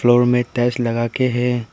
और में टाइल्स लगाके है।